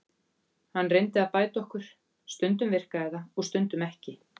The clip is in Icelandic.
Hann reyndi að bæta okkur, stundum virkaði það og stundum ekki.